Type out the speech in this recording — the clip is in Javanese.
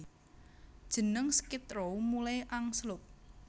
Jeneng Skid Row mulai angslup